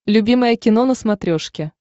любимое кино на смотрешке